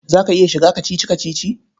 Za ka iya shiga kacici-kacici?